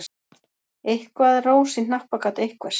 Eitthvað er rós í hnappagat einhvers